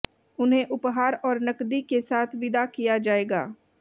उन्हें उपहार और नकदी के साथ विदा किया जाएगा